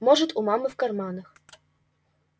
может у мамы в карманах